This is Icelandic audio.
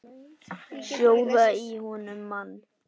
Sjóða í honum mann!